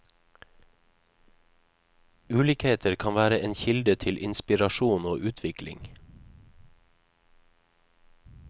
Ulikheter kan være en kilde til inspirasjon og utvikling.